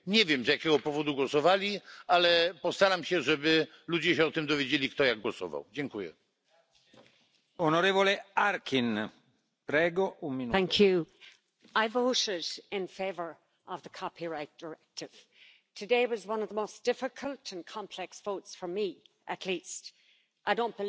Domnule președinte, controlul banilor cash care intră și ies din Uniunea Europeană trebuie să fie obligatoriu, real, urgent și, mai ales, sistematic, iar suma cash permisă la intrarea în Uniunea și la ieșirea din